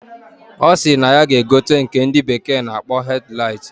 Osiri na ya ga egote nke ndi bekee na akpo headlight.